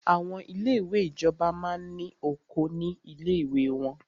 Àwọn ilé ìwé ìjọba máa ní oko ní ilé ìwé wọ́n.